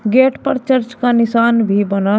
gate पर church का निशान भी बना--